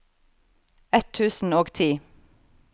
ett tusen og ti